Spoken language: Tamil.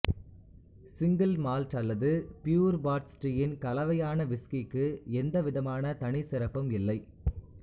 சிங்கிள் மால்ட் அல்லது பியூர் பாட் ஸ்டியின் கலவையான விஸ்கிக்கு எந்த விதமான தனி சிறப்பும் இல்லை